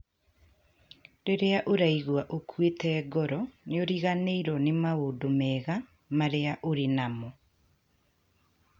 Rĩrĩa ũraigua ũkuĩte ngoro, nĩ ũriganĩrũo nĩ maũndũ mega marĩa ũrĩ namo.